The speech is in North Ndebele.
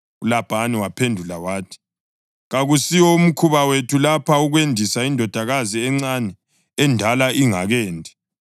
ULabhani waphendula wathi, “Kakusiwo mkhuba wethu lapha ukwendisa indodakazi encane endala ingakendi.